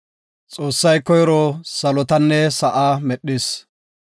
Xoossay koyro salotanne sa7a medhis.